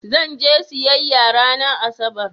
Zan je siyayya ranar Asabar.